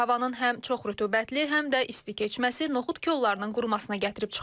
Havanın həm çox rütubətli, həm də isti keçməsi noxud kollarının qurumasına gətirib çıxarıb.